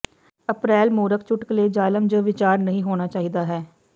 ਅਪ੍ਰੈਲ ਮੂਰਖ ਚੁਟਕਲੇ ਜ਼ਾਲਮ ਜ ਵਿਚਾਰ ਨਹੀ ਹੋਣਾ ਚਾਹੀਦਾ ਹੈ